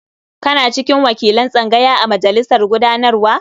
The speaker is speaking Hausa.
Kana cikin wakilan tsangaya a majalisar gudanarwa?